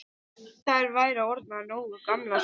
Þær væru orðnar nógu gamlar.